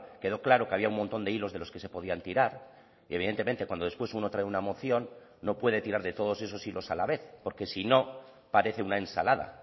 quedó claro que había un montón de hilos de los que se podían tirar y evidentemente cuando después uno trae una moción no puede tirar de todos esos hilos a la vez porque si no parece una ensalada